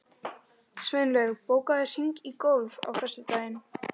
Sveinlaug, bókaðu hring í golf á föstudaginn.